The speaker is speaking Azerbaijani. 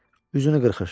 Üzünü qırxır.